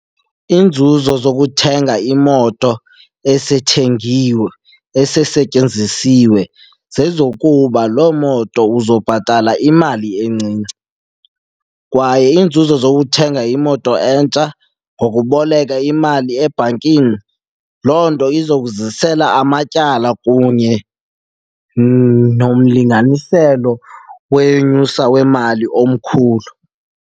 Iinzuzo zokuthenga imoto esethengiwe, esesetyenzisiwe, zezokuba loo moto uzobhatala imali encinci. Kwaye iinzuzo zokuthenga imoto entsha ngokuboleka imali ebhankini, loo nto izokuzisela amatyala kunye nomlinganiselo wenyusa wemali omkhulu.